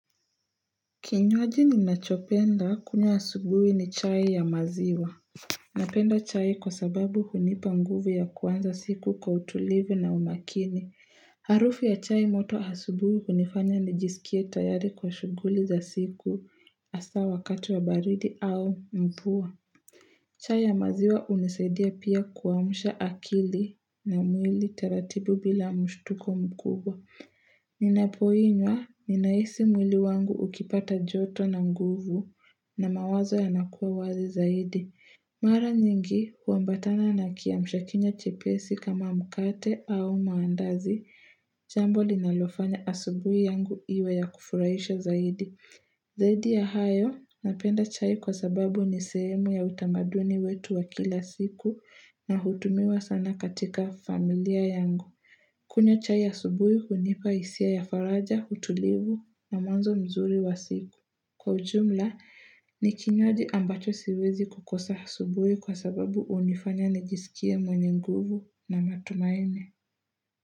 Kinywaji ninachopenda kunywa asubuhi ni chai ya maziwa. Napenda chai kwa sababu hunipa nguvu ya kuanza siku kwa utulivu na umakini. Harufu ya chai moto asubuhi kunifanya nijisikie tayari kwa shuguli za siku hasa wakati wa baridi au mvua. Chai ya maziwa unisaidia pia kuwamusha akili na mwili taratibu bila mshtuko mkubwa. Ninapoinywa, ninahisi mwili wangu ukipata joto na nguvu na mawazo yanakuwa wazi zaidi. Mara nyingi, huambatana na kia mshakinya chepesi kama mkate au maandazi, jambo linalofanya asubui yangu iwe ya kufuraisha zaidi. Zaidi ya hayo, napenda chai kwa sababu ni sehemu ya utamaduni wetu wa kila siku na hutumiwa sana katika familia yangu. Kunywa chai ya asubuhi unipa hisia ya faraja, utulivu na mwanzo mzuri wa siku. Kwa ujumla, nikinywaji ambacho siwezi kukosa subuhi kwa sababu unifanya nijisikia mwenye nguvu na matumaine.